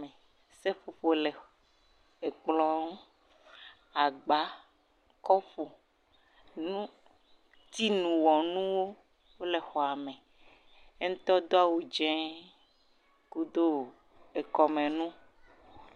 Me, seƒoƒo le ekplɔ, agba, kɔpu nu..tiiwɔnuwo wole xɔa me, yeŋ tɔ do awu dzɛ kudo ekɔme nu